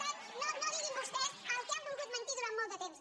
tant no diguin vostès el que han volgut mentir durant molt de temps